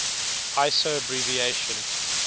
iso abbreviation